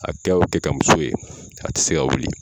A kɛ o kɛ ka muso ye, a tɛ se ka wuli !